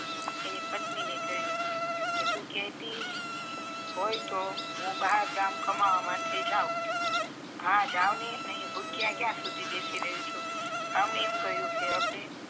એની પત્ની ને કહીંયુ તું કેટી હોય તો હું બાર ગામ કમાવા માટે જાવ હવે જાવ ની અહીંયા ભુકીય ક્યાં સુધી બેસી રહી શું અમને એમ કહીંયુ કે આપડે